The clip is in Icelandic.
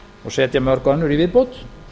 og setja mörg önnur í viðbót